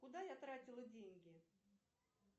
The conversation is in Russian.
куда я тратила деньги